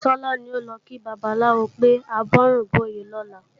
Tọ́lá ní a ò lọ kí babaláwo pé àbọrúbọyè lọ́la